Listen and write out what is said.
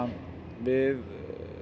við